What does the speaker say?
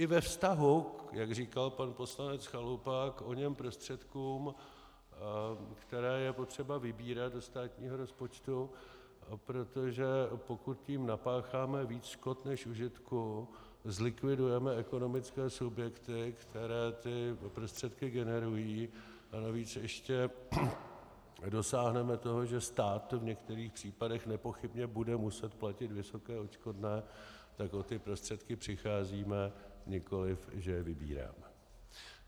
I ve vztahu, jak říkal pan poslanec Chalupa, k oněm prostředkům, které je potřeba vybírat do státního rozpočtu, protože pokud tím napácháme víc škod než užitku, zlikvidujeme ekonomické subjekty, které ty prostředky generují, a navíc ještě dosáhneme toho, že stát v některých případech nepochybně bude muset platit vysoké odškodné, tak o ty prostředky přicházíme, nikoliv že je vybíráme.